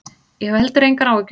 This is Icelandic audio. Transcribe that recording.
Ég hef heldur engar áhyggjur.